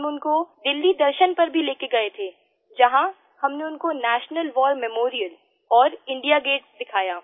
हम उनको दिल्ली दर्शन पर भी लेकर गये थे जहां हमने उनको नेशनल वार मेमोरियल और इंडिया गेट दिखाया